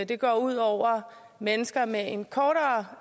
det går ud over mennesker med en kortere